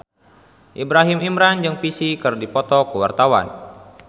Ibrahim Imran jeung Psy keur dipoto ku wartawan